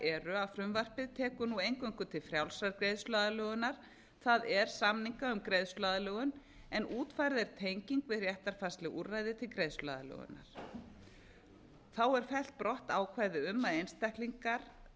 eru að frumvarpið tekur nú eingöngu til frjálsrar greiðsluaðlögunar það er samninga um greiðsluaðlögun en útfærð er tenging við réttarfarsleg úrræði til greiðsluaðlögunar þá er fellt brott ákvæði um að